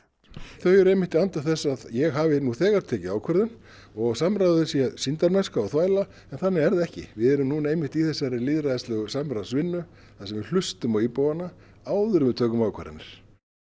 þau eru einmitt í anda þess að ég hafi nú þegar tekið ákvörðun og samráðið sé sýndarmennska og þvæla en þannig er það ekki við erum núna einmitt í þessari lýðræðislegu samráðsvinnu þar sem við hlustum á íbúana áður en við tökum ákvarðanir